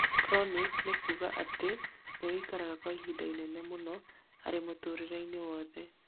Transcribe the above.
Chronic nĩkuga atĩ nĩũikaraga kwa ihinda inene, mũno arĩ mũtũrĩre-inĩ wothe